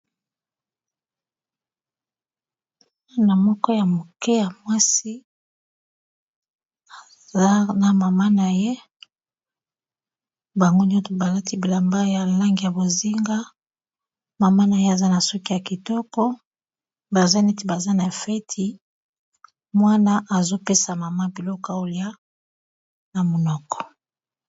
Mwana moko ya moke ya mwasi aza na mama na ye bango nyonso balati bilamba ya langi ya bozinga mama na ye aza na suki ya kitoko baza neti baza na feti mwana azopesa mama biloko ya lia na monoko.